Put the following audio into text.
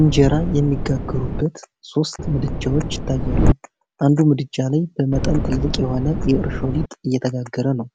ኢንጀራ የሚጋገሩበት ሦስት ምድጃዎች ይታያሉ፤ አንዱ ምድጃ ላይ በመጠን ትልቅ የሆነ የእርሾ ሊጥ እየተጋገረ ነው።